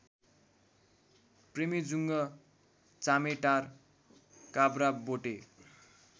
प्रेमेजुङ्ग चामेटार काब्राबोटे